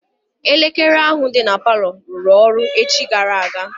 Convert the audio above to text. Elekere ahụ dị na palọ rụrụ ọrụ echi gara aga.